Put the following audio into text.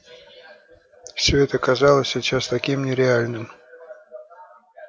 все это казалось сейчас таким нереальным